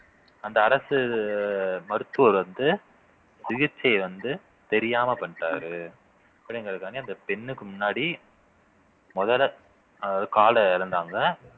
அந்த அரசு மருத்துவர் வந்து சிகிச்சை வந்து தெரியாம பண்ணிட்டாரு அப்படிங்கிறதுக்காண்டி அந்த பெண்ணுக்கு முன்னாடி முதல்ல அதாவது கால இழந்தாங்க